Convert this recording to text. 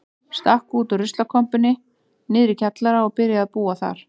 Stakk út úr ruslakompunni niðri í kjallara og byrjaði að búa þar.